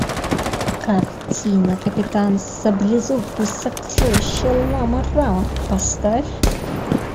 картина капитан саблезуб и сокровища лама рама поставь